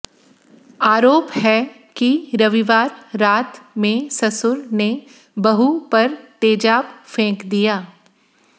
आरोप है कि रविवार रात में ससुर ने बहू पर तेजाब फेंक दिया